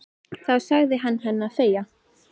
Þá sagði hann henni að þegja.